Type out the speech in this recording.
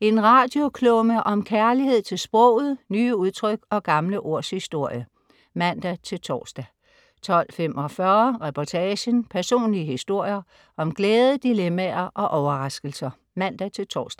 En radioklumme om kærlighed til sproget, nye udtryk og gamle ords historie (man-tors) 12.45 Reportagen. Personlige historier om glæde, dilemmaer og overraskelser (man-tors)